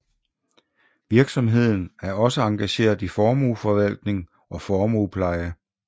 Virksomheden er også engageret i formueforvaltning og formuepleje